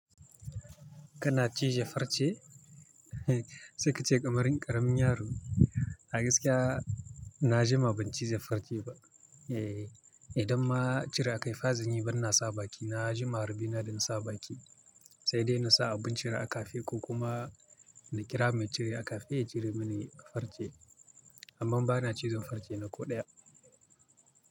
Kana cije farce? Sai kace kamar, ƙaramin yaro. A gaskiya na juma ban cije farce ba. Eh, idan ma cire a kai fazan yi, ban na sa baki na, na juma rabona da na sa baki. Sai dai na sa abin cira kafe ko kuma na kira mai cire akafe ya cire mini farce. Amma ba na cizon farce na ko ɗaya.